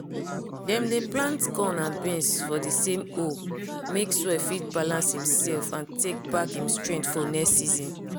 dem dey plant corn and beans for di same hole make soil fit balance imself and tek back im strength for next season.